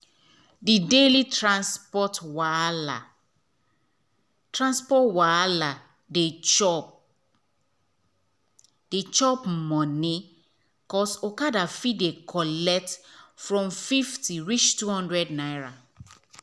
the daily transport wahala transport wahala dey chop um money cos okada fit dey collect from 50 reach 200 naira.